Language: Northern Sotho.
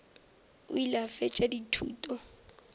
o ile a fetša dithuto